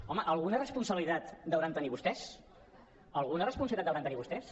home alguna responsabilitat deuen tenir vostès alguna responsabilitat deuen tenir vostès